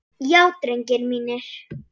Já drengir mínir.